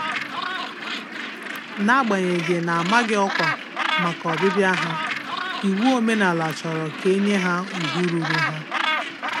N'agbanyeghị na -amaghị ọkwa màkà ọbịbịa ha, iwu omenala chọrọ ka enye ha ùgwù ruuru ha.